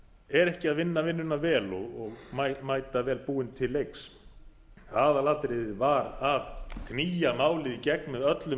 er ekki að vinna vinnuna vel og mæta vel búinn til leiks aðalatriðið var að knýja málið í gegn með öllum